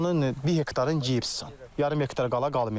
Onun bir hektarın gibsən, yarım hektarı qala qalmayacaq.